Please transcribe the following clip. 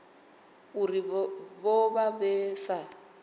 uri vho vha vha sa